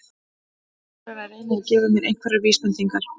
Þór er að reyna að gefa mér einhverjar vísbendingar.